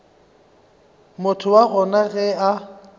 motho wa gona ge a